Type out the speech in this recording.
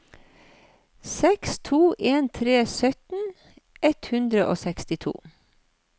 seks to en tre sytten ett hundre og sekstito